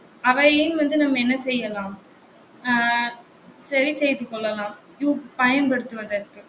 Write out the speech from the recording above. அவையும் வந்து நம்ம என்ன செய்யலாம்? அஹ் சரி செய்து கொள்ளலாம் பயன்படுத்துவதற்கு